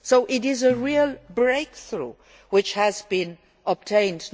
So it is a real breakthrough which has been obtained.